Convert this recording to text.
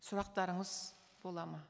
сұрақтарыңыз болады ма